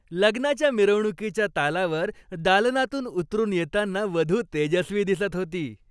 लग्नाच्या मिरवणुकीच्या तालावर दालनातून उतरून येताना वधू तेजस्वी दिसत होती.